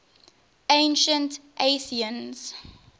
ancient athenians